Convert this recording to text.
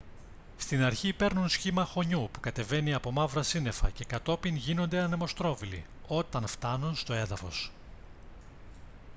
στην αρχή παίρνουν σχήμα χωνιού που κατεβαίνει από μαύρα σύννεφα και κατόπιν γίνονται «ανεμοστρόβιλοι» όταν φτάνουν στο έδαφος